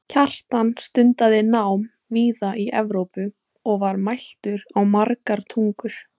kjartan stundaði nám víða í evrópu og var mæltur á margar tungur